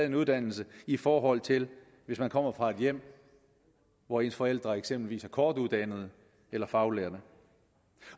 en uddannelse i forhold til hvis man kommer fra et hjem hvor ens forældre eksempelvis er kortuddannede eller faglærte